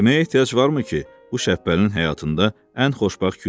Deməyə ehtiyac varmı ki, bu Şəbbəlinin həyatında ən xoşbəxt gün idi.